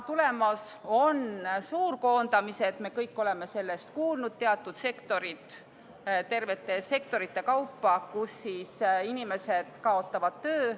Tulemas on suurkoondamised, me kõik oleme sellest kuulnud, teatud sektorites, tervete sektorite kaupa kaotavad inimesed töö.